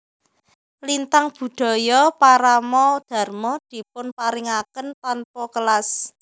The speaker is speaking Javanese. Lintang Budaya Parama Dharma dipun paringaken tanpa kelas